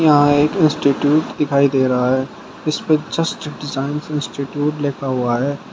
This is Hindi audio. यहां एक इंस्टिट्यूट दिखाई दे रहा है इस पे जस्ट डिजाइंस इंस्टिट्यूट लिखा हुआ है।